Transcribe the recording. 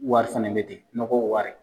Wari fana bɛ ten nɔgɔ wari.